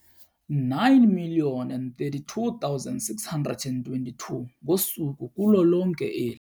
9 032 622 ngosuku kulo lonke eli.